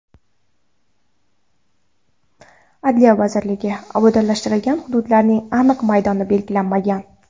Adliya vazirligi: obodonlashtiriladigan hududlarning aniq maydoni belgilanmagan.